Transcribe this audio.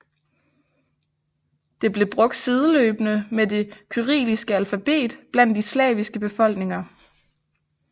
Det blev brugt sideløbende med det kyrilliske alfabet blandt de slaviske befolkninger